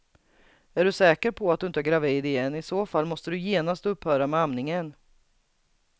Är du säker på att du inte är gravid igen, i så fall måste du genast upphöra med amningen.